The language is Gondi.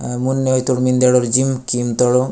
मुन्ने वही तोड़ मिंदेड जिम किम तड़ो।